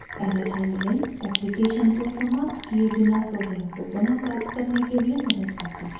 error handling application को समाप्त किये बिना प्रोग्राम को पुनः प्राप्त करने के लिए मदद करता है